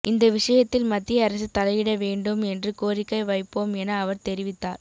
இந்த விஷயத்தில் மத்திய அரசு தலையிட வேண்டும் என்று கோரிக்கை வைப்போம் என அவர் தெரிவித்தார்